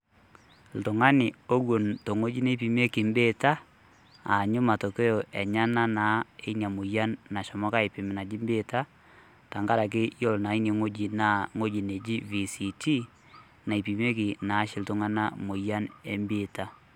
Oltung'ani ewon tewueji neipimieki ebeeta, aanyu matokeyo enyenak naa eina moyian nashomoki aipem naji biitia, amu yiolo naa ine wueji natii naa VCT naipimieki iltung'anak ebiita.